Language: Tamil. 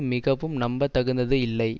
மிகவும் நம்பத்தகுந்தது இல்லை